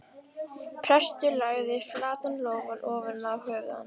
Prestur lagði flatan lófann ofan á höfuð hans.